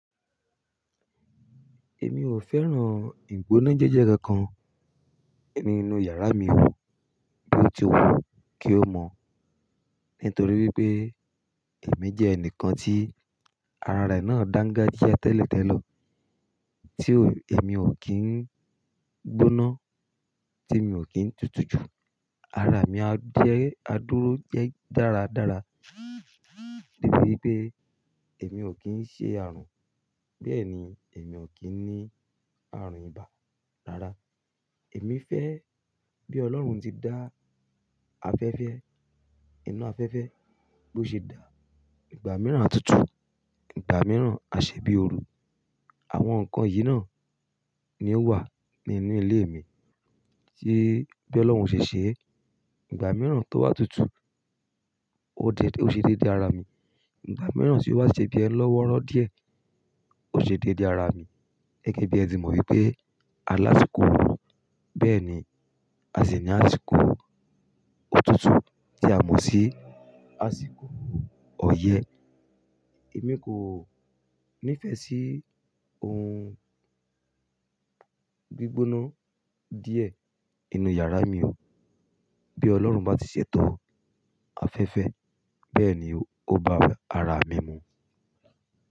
Èmi ò fẹ́ràn ìgbóná jẹ́jẹ́ka kan nínú yàrá mi o bí ó ti wù kí ó mọ̀. Nítorí wípé èmi jẹ́ ẹnìkan tí ara rẹ̀ náà dángájíá tẹ́lẹ̀tẹ́lẹ̀. Tí èmi ò kín gbóná, tí mi ò kín tutù jù. Ara mi á dúró jẹ́ dáradára. Débi i pé èmi ò kín ṣe àrùn, bẹ́ẹ̀ ni èmi ò kín ní àrùn ibà. Rárá, èmi fẹ́ bí Ọlọ́run tí dá afẹ́fẹ́, iná afẹ́fẹ́ bó ṣe dá ìgbà mìíràn á tutù, ìgbà mìíràn á ṣe bí ooru. Àwọn nǹkan yìí náà ni ó wà nínú ilé mi tí bí Ọlọ́run ṣe ṣe é. Ìgbà mìíràn tó wà tutù, ó ṣe dédé ara mi. Ìgbà mìíràn tí ó wà ṣe bí ẹ lọ́wọ́rọ́ díẹ̀, ó ṣe dédé ara mi. Gẹ́gẹ́ bí ẹ ti mọ wípé alási ko orù, bẹ́ẹ̀ ni a sì ní àsìkò òtútù tí a mọ̀ sí àsìkò ọyẹ́. Èmi kò nífẹ̀ẹ́ sí ohun gbígbóná díẹ̀ ínú yàrá mi o. Bí Ọlọ́run bá ti ṣètò afẹ́fẹ́ bẹ́ẹ̀ ni ó bá ara mi mu.